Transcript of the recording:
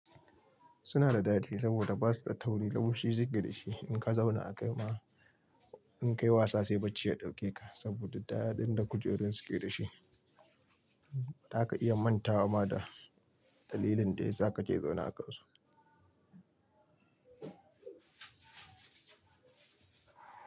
Suna da dadi saboda ba su da tauri, lamushi, suke da shi. In ka zauna a kai ma, in ka yi wasa sai bacci ya ɗauke ka saboda da ɗaɗɗin da kujerun suke da shi. Za ka iya mantawa ma da dalilin da ya sa ka je zauna a kansu.